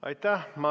Aitäh!